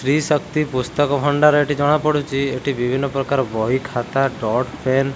ତ୍ରିଶକ୍ତି ପୁସ୍ତକ ଭଣ୍ଡାର ଏଠି ଜଣା ପଡୁଛି ଏଠି ବିଭିନ୍ନ ପ୍ରକାର ବହି ଖାତା ଡଟ୍ ପେନ୍ --